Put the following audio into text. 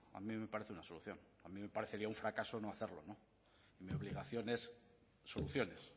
a mí me parece una solución a mí me parecería un fracaso no hacerlo mi obligación es soluciones